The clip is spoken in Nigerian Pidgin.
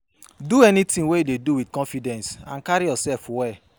Do anything wey you dey do with confidence and carry yourself well